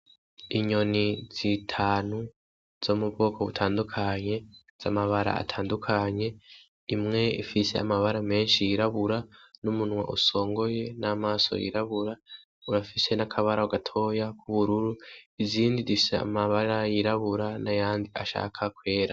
Inyoni zitanu zo mu bwoko butandukanye, z'amabara atandukanye, imwe ifise amabara menshi yirabura n'umunwa usongoye, n'amaso yirabura. Irafise n' akabara gatoya k'ubururu. Izindi zifise amabara yirabura n'ayandi ashaka kwera.